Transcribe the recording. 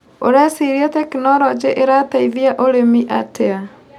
ũreciria tekinologĩ ĩrateithia ũrĩmi atĩa.